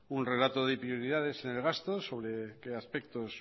un relato de prioridades en el gasto sobre qué aspectos